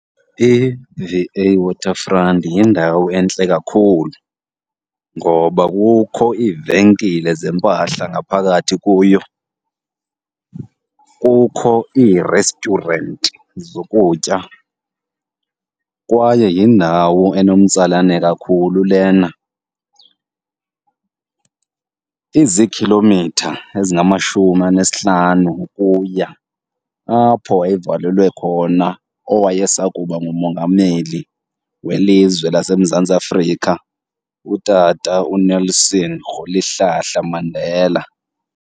I-V A Waterfront yindawo entle kakhulu ngoba kukho iivenkile zempahla ngaphakathi kuyo, kukho ii-restaurant zokutya kwaye yindawo enomtsalane kakhulu lena. Izikhilomitha ezingamashumi anesihlanu ukuya apho wayevalelwe khona owayesakuba ngumongameli welizwe laseMzantsi Afrika uTata uNelson Rholihlahla Mandela.